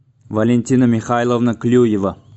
валентина михайловна клюева